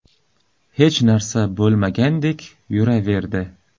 hech narsa bo‘lmagandek yuraverdi.